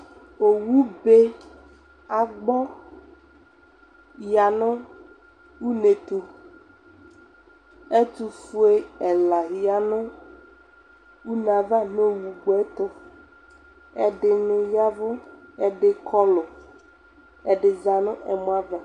owu be agbe ya no une ɛto ɛtofua ɛla ya no une ava no owu gbɔ to ɛdini yavo ɛdi kɔlo ɛdi za no ɛmɔ ava